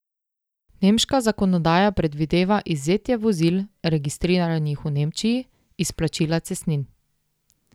Nemška zakonodaja predvideva izvzetje vozil, registriranih v Nemčiji, iz plačila cestnin.